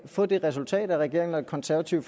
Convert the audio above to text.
få det resultat at regeringen og det konservative